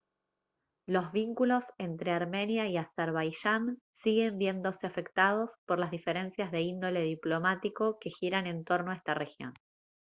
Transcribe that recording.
los vínculos entre armenia y azerbaiyán siguen viéndose afectados por las diferencias de índole diplomático que giran en torno a esta región